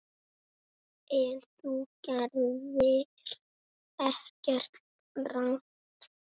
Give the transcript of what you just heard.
En þú gerðir ekkert rangt.